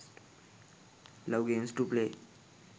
love games to play